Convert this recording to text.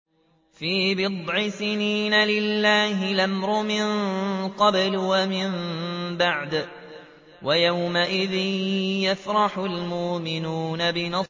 فِي بِضْعِ سِنِينَ ۗ لِلَّهِ الْأَمْرُ مِن قَبْلُ وَمِن بَعْدُ ۚ وَيَوْمَئِذٍ يَفْرَحُ الْمُؤْمِنُونَ